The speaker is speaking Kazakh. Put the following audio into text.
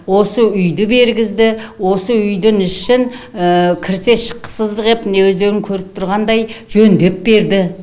осы үйді бергізді осы үйдің ішін кірсе шыққысыздық етіп міне өздерің көріп отырғандай жөндеп берді